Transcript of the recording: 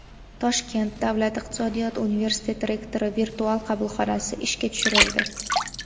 Toshkent davlat iqtisodiyot universiteti rektori virtual qabulxonasi ishga tushirildi.